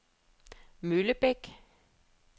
Møllebæk